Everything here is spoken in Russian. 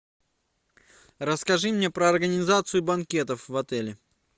расскажи мне про организацию банкетов в отеле